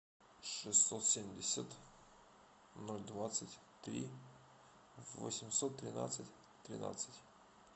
шестьсот семьдесят ноль двадцать три восемьсот тринадцать тринадцать